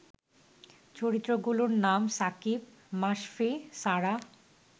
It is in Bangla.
চরিত্রগুলোর নাম সাকিব, মাশফি, সারাহ